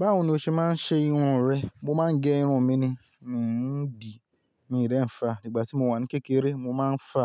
Báwo ni o ṣe máa ń ṣe irun rẹ? Mo máa ń gẹ irun mi ni, mi ń dì, mi dẹ̀ ń fa. Nígbà tí mo wà ní kékeré mo máa ń fa,